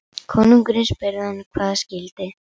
Konungurinn spurði hann hvað það skyldi.